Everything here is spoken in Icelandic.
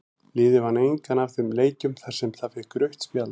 Liðið vann engan af þeim leikjum þar sem það fékk rautt spjald.